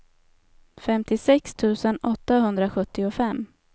femtiosex tusen åttahundrasjuttiofem